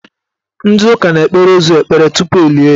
Ndị ụka na-ekpere ozu ekpere tupu elie ya.